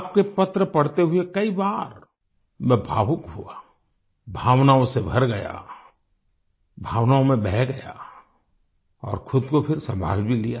आपके पत्र पढ़ते हुए कई बार मैं भावुक हुआ भावनाओं से भर गया भावनाओं में बह गया और खुद को फिर सम्भाल भी लिया